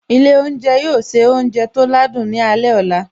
Ilé oúnjẹ yóò se oúnjẹ tó ládùn ní alẹ́ ọ̀la